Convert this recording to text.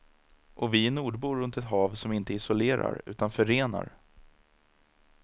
Och vi är nordbor runt ett hav som inte isolerar utan förenar.